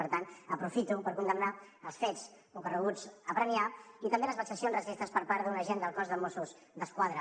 per tant aprofito per condemnar els fets ocorreguts a premià i també les vexacions racistes per part d’un agent del cos de mossos d’esquadra